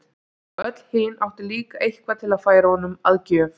Og öll hin áttu líka eitthvað til að færa honum að gjöf.